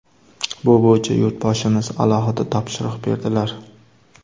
Bu bo‘yicha Yurtboshimiz alohida topshiriq berdilar.